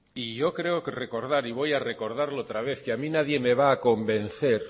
y yo creo recordar y voy a recordarlo otra vez que a mí nadie me va a convencer